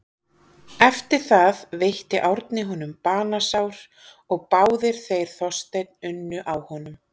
Eftir það veitti Árni honum banasár og báðir þeir Þorsteinn unnu á honum.